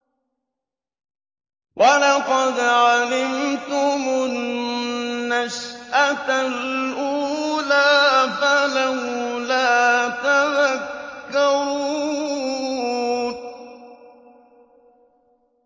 وَلَقَدْ عَلِمْتُمُ النَّشْأَةَ الْأُولَىٰ فَلَوْلَا تَذَكَّرُونَ